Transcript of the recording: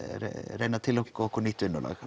reyna að tileinka okkur nýtt vinnulag